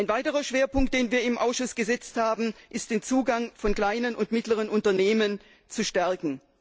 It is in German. Ein weiterer Schwerpunkt, den wir im Ausschuss gesetzt haben, ist es, den Zugang von kleinen und mittleren Unternehmen zu stärken.